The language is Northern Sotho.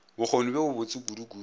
bokgoni bjo bo botse kudukudu